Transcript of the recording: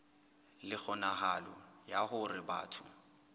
le kgonahalo ya hore batho